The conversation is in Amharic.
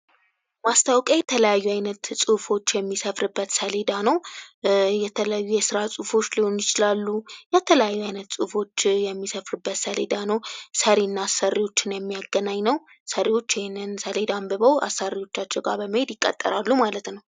ማስታወቂያ የተለያዩ አይነት ጽሑፎች የሚሰፍርበት ሰሌዳ ነው የተለያዩ የስራ ጽሑፎች ሊሆኑ ይችላሉ የተለያዩ አይነት ጽሑፎች የሚሰፍሩበት ሰሌዳ ሰሪና አሰሪዎችን የሚያገናኝ ነው። ሰሪዎቹ ይህንን ሰሌዳ አንብበው አሰሪዎቻቸው ጋር በመሄድ ይቀጠራሉ ማለት ነው።